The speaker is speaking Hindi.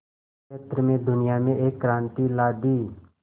क्षेत्र में दुनिया में एक क्रांति ला दी